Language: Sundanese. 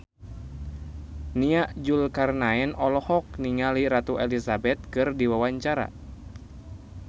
Nia Zulkarnaen olohok ningali Ratu Elizabeth keur diwawancara